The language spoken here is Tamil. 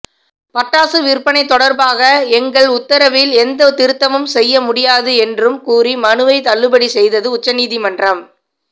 பட்டாசு விற்பனை தொடர்பாக எங்கள் உத்தரவில் எந்த திருத்தமும் செய்ய முடியாது என்றும் கூறி மனுவை தள்ளுபடி செய்தது உச்சநீதிமன்றம்